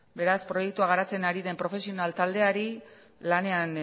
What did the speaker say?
beraz proiektua garatzen ari den profesional taldeari lanean